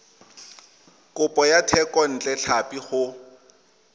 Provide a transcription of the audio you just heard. kopo ya thekontle tlhapi go